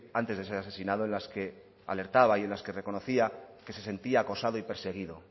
antes de ser asesinado en las que alertaba y en las que reconocía que se sentía acosado y perseguido